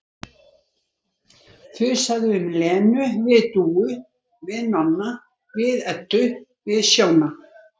Þusaði um Lenu við Dúu, við Nonna, við Eddu, við Sjóna